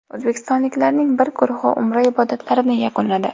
O‘zbekistonliklarning bir guruhi Umra ibodatlarini yakunladi.